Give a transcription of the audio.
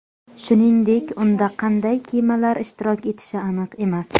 Shuningdek, unda qanday kemalar ishtirok etishi aniq emas.